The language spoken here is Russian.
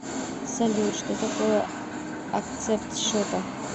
салют что такое акцепт счета